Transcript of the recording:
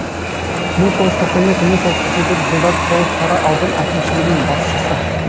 мың тоғыз жүз тоқсан екі мың тоғыз жүз тоқсан төртінші жылдары тоғыз тара аудан әкімшілігінің басшысы